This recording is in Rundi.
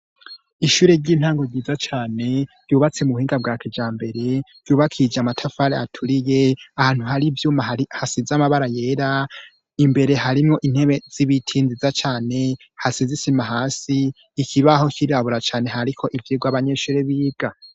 Ishure ry'intango ryiza cane ryubatse mu buhinga bwa kijambere ryubakishije amatafari aturiye ahantu hari ivyuma hasize amabara yera imbere harimwo intebe z'ibiti nziza cane hasize isima hasi ikibaho cirabura cane hariko ivyirwa abanyeshuri biga.